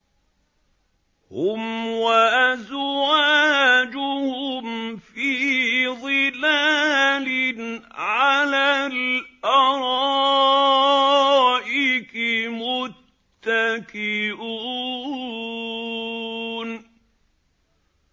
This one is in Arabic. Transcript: هُمْ وَأَزْوَاجُهُمْ فِي ظِلَالٍ عَلَى الْأَرَائِكِ مُتَّكِئُونَ